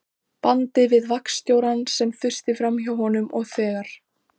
bandi við vaktstjórann, sem þusti framhjá honum, og þegar